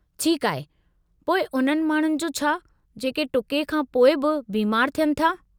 ठीकु आहे, पोइ उन्हनि माण्हुनि जो छा जेके टुके खां पोइ बि बीमार थियनि था?